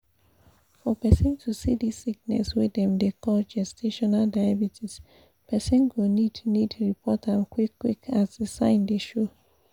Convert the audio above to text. for persin to see this sickness wey dem dey call gestational diabetespersin go need need report am qik qik as the sign dey show